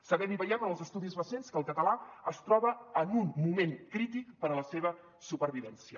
sabem i veiem en els estudis recents que el català es troba en un moment crític per a la seva supervivència